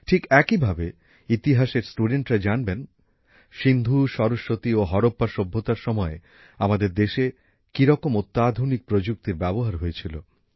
ঠিক একই ভাবে ইতিহাসের ছাত্রছাত্রীরা জানবেন সিন্ধু সরস্বতী ও হারাপ্পা সভ্যতার সময়ে আমাদের দেশে কী রকম অত্যাধুনিক প্রযুক্তির ব্যবহার হয়েছিল